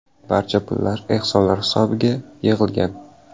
Barcha pullar ehsonlar hisobiga yig‘ilgan.